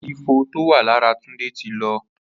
Àléfọ tó wà làrà Tunde ti lọ